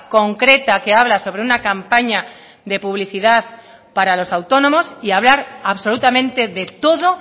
concreta que habla sobre una campaña de publicidad para los autónomos y hablar absolutamente de todo